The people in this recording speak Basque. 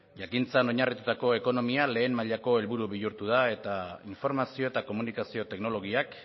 jakintzan oinarritutako ekonomia lehen mailako helburu bihurtu da eta informazio eta komunikazio teknologiak